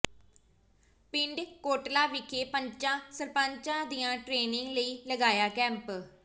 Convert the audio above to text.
ਪਿੰਡ ਕੋਟਲਾ ਵਿਖੇ ਪੰਚਾਂ ਸਰਪੰਚਾਂ ਦੀ ਟ੍ਰੇਨਿੰਗ ਲਈ ਲਗਾਇਆ ਕੈਂਪ